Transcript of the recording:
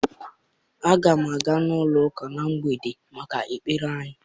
Aga m aga n'ụlọ ụka m na mgbede maka ekpere anyị nwere.